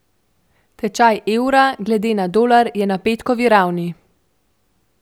Tečaj evra glede na dolar je na petkovi ravni.